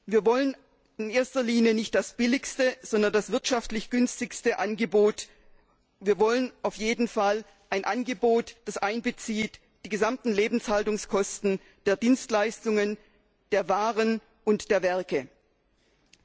Wir wollen in erster Linie nicht das billigste, sondern das wirtschaftlich günstigste Angebot, wir wollen auf jeden Fall ein Angebot, das die gesamten Lebenshaltungskosten der Dienstleistungen, der Waren und der Werke einbezieht.